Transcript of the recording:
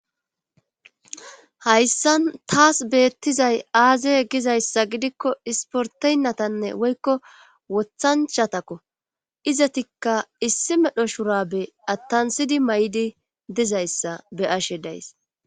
hayssan taas beettizay aaze gizayssa gidikko isporteynnatanne woykko wothanchatakko izatikka issi medho shurabe attansidi may7idi dizayssa be ashe days